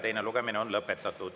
Teine lugemine on lõpetatud.